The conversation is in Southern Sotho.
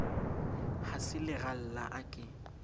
ha se leralla a ke